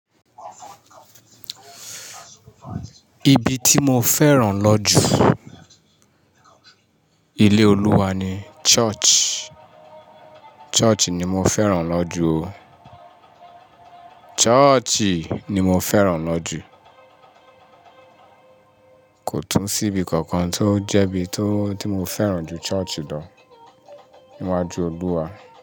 Ibi tí mo fẹ́ràn lọ́jú ilé Olúwa ni Church. Church ni mo fẹ́ràn lọ́jú o. Church ni mo fẹ́ràn lọ́jú. Kò tún sí ibi kankan tó jẹ́ bí i tó tí mo fẹ́ràn ju Church lọ níwájú Olúwa.